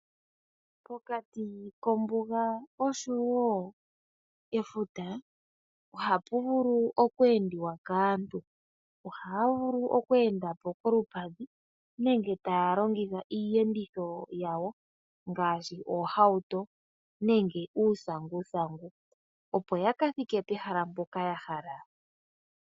Pokati kombuga nefuta ohapu vulu oku endiwa kaantu ohaya vulu oku enda po kolupadhi nenge taya longitha iiyenditho yawo ngaashi oohauto nenge uusanguthangu opo yaka thike pehala mpoka ya hala.